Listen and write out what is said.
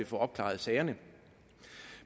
få opklaret sagerne